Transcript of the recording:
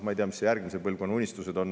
Ma ei tea, mis järgmise põlvkonna unistused on.